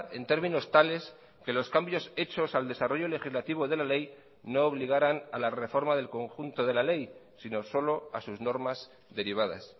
en términos tales que los cambios hechos al desarrollo legislativo de la ley no obligaran a la reforma del conjunto de la ley sino solo a sus normas derivadas